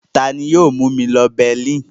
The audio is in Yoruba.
Ta ni yóò mú mi lọ Berlin?